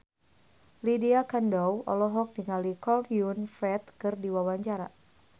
Lydia Kandou olohok ningali Chow Yun Fat keur diwawancara